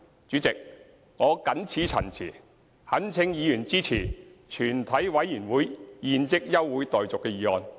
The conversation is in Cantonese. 主席，我謹此陳辭，懇請委員支持"全體委員會現即休會待續"的議案。